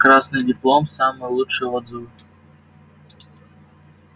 красный диплом самые лучшие отзывы